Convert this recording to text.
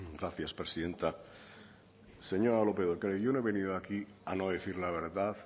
gracias presidenta señora lópez de ocariz yo no he venido aquí a no decir la verdad